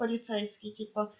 полицейский типа